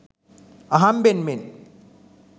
අහම්බෙන් මෙන්